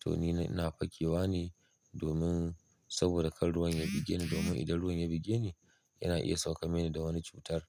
to ni ina fakewa ne domin saboda kar ruwan ya buge ni. Domin idan ruwan ya buge ni yana iya sauka mini da wani cutar